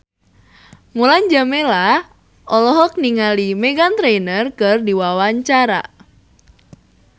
Mulan Jameela olohok ningali Meghan Trainor keur diwawancara